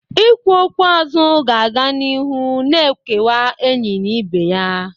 Ikwu okwu aza ga na-aga n'iru na-ekewa enyi na ibe ya.